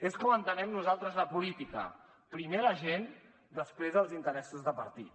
és com entenem nosaltres la política primer la gent després els interessos de partit